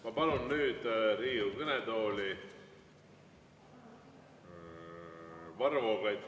Ma palun nüüd Riigikogu kõnetooli Varro Vooglaiu.